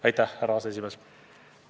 Aitäh, härra aseesimees!